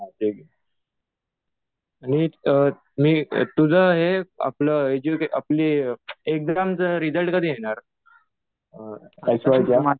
हा ते. तुझं हे आपलं एज्युकेशन आपली एक्झामचा रिजल्ट कधी येणार? एस वायचा